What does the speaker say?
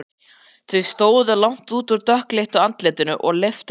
Þau stóðu langt út úr dökkleitu andlitinu og leiftruðu.